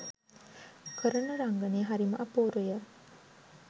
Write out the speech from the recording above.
කරන රංගනය හරිම අපූරුය.